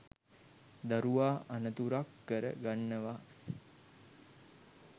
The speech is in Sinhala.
දරුවා අනතුරක් කර ගන්නවා.